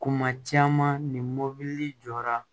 Kuma caman ni mɔbili jɔra